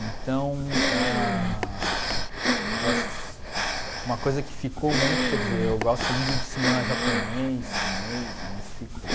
Então, ah... eu assis uma coisa que ficou muito, quer dizer, eu gosto muito do cinema japonês, chinês, né, isso ficou.